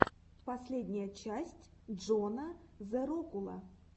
последняя часть джона зэрокула